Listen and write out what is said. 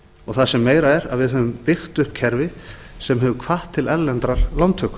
og það sem meira er að við höfum byggt upp kerfi sem hefur hvatt til erlendrar lántöku